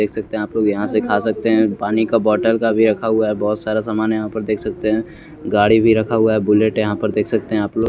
देख सकते हैं आप लोग यहां से खा सकते है पानी का बोटल का भी रखा हुआ है। बहोत सारा सामान है यहां पर देख सकते है गाड़ी भी रखा हुआ है बुलेट है यहां पर देख सकते है आपलोग।